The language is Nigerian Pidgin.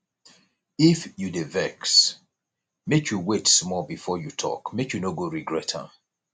if you dey vex make you wait small before you talk make you no go regret am